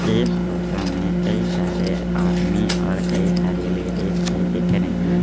इस फोटो में कई सारे आदमी और कई सारी लेडीज भी दिख रही ।